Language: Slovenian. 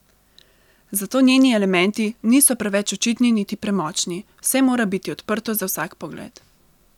Zato njeni elementi niso preveč očitni niti premočni, vse mora biti odprto za vsak pogled.